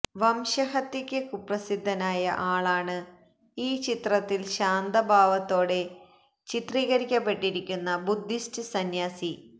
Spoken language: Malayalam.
വംശഹത്യയ്ക്ക് കുപ്രസിദ്ധനായ ആളാണ് ഈ ചിത്രത്തില് ശാന്തഭാവത്തോടെ ചിത്രീകരിക്കപ്പെട്ടിരിക്കുന്ന ബുദ്ധിസ്റ്റ് സംന്യാസി